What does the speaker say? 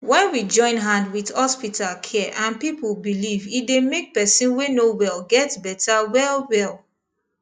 when we join hand with hospital care and people belief e dey make person wey no wel get better wellwell